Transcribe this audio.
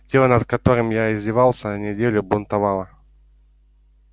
тело над которым я издевался неделю бунтовало